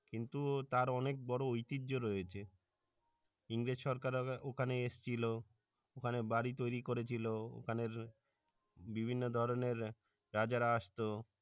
কিন্তু তার অনেক বড়ো ঐতিহ্য রয়েছে ইংরেজ সরকাররা ওখানে এসেছিল ওখানে বাড়ি তৈরি করেছিল ওখানে বিভিন্ন ধরনের রাজারা আসতো